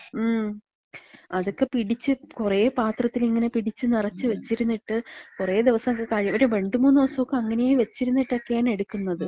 മ്. അതൊക്കെ പിടിച്ച്, കൊറേ പാത്രത്തില് ഇങ്ങനെ പിടിച്ച് നെറച്ച് വെച്ചിരുന്നിട്ട്, കൊറെ ദിവസൊക്കെ കഴിഞ്ഞിട്ട്, കഴി ഒരു രണ്ട് മൂന്ന് ദിവസൊക്കെ അങ്ങനേ വെച്ചിരുന്നിട്ടാണ് എട്ക്ക്ന്നത്.